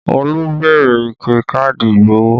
Olú béèrè ike káàdì ìgbowó